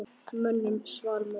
Mönnum svall móður.